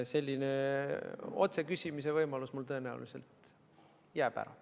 Selline otseküsimise võimalus jääb mul tõenäoliselt ära.